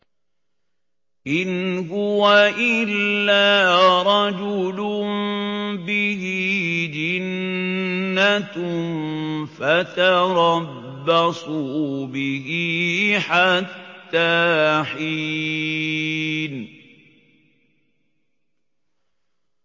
إِنْ هُوَ إِلَّا رَجُلٌ بِهِ جِنَّةٌ فَتَرَبَّصُوا بِهِ حَتَّىٰ حِينٍ